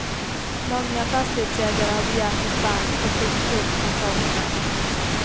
Många fastighetsägare har begärt dispens och skjutit upp kontrollerna.